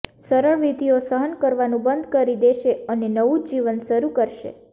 સરળ વિધિઓ સહન કરવાનું બંધ કરી દેશે અને નવું જીવન શરૂ કરશે